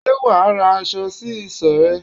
Ṣé wà á ra aṣọ sí isọ̀ rẹ?